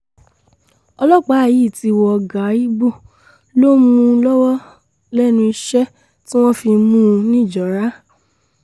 ọlọ́pàá yìí ti wọ gàà igbó ló ń mú lọ́wọ́ lẹ́nu iṣẹ́ tí wọ́n fi mú un nìjọra